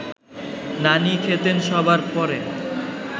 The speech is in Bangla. নানি খেতেন সবার পরে